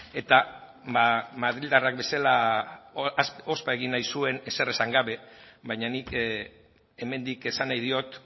eta madrildarrak bezala ospa egin nahi zuen ezer esan gabe baina nik hemendik esan nahi diot